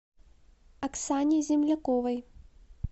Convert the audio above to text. оксане земляковой